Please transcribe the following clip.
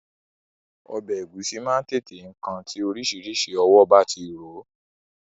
Ọbẹ̀ Ẹ̀gúsí máa ń tètè kan tí oríṣiríṣi ọwọ́ bá ti rò ó